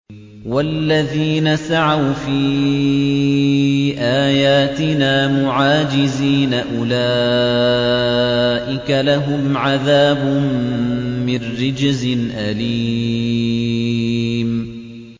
وَالَّذِينَ سَعَوْا فِي آيَاتِنَا مُعَاجِزِينَ أُولَٰئِكَ لَهُمْ عَذَابٌ مِّن رِّجْزٍ أَلِيمٌ